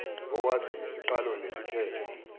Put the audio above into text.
owazi isiqalo nesiphetho